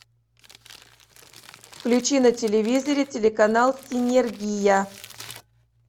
включи на телевизоре телеканал синергия